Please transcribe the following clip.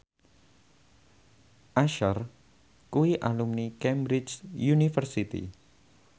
Usher kuwi alumni Cambridge University